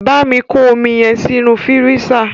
Bámi kọ́ omi yẹn sínú fírísà!